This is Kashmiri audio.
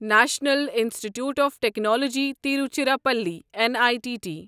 national institute of technology Tiruchirappalli N I T T